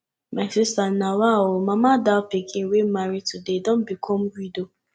my sister nawa ooo mama dal pikin wey marry today don become widow